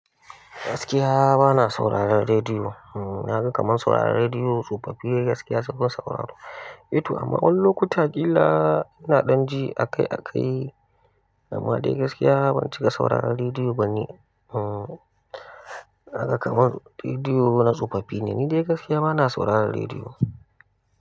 Gaskiya bana sauraron rediyo. Na ga kamar sauraron rediyo tsofaffi ne gaskiya sukan sauraro. To amma wani lokuta kila ina dan ji akai-akai amma dai gaskiya ban cika sauraron rediyo ba ne. Hmm, naga kaman rediyo na tsofaffi ne, ni dai gaskiya bana sauraron rediyo.